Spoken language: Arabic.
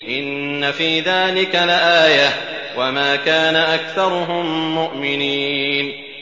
إِنَّ فِي ذَٰلِكَ لَآيَةً ۖ وَمَا كَانَ أَكْثَرُهُم مُّؤْمِنِينَ